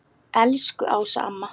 Elsku Ása amma.